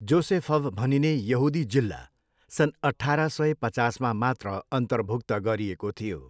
जोसेफभ भनिने यहुदी जिल्ला सन् अठाह्र सय पचासमा मात्र अन्तर्भुक्त गरिएको थियो।